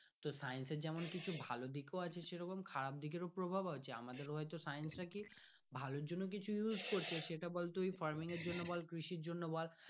তো science যেমন কিছু ভালো দিক আছে সেরকম খারাপ দিকের ও প্রভাব আছে আমাদের science নাকি ভালো জন্য নিয়ে আসছে সেটা বল তুই farming জন্য বল কৃষির জন্য বল ।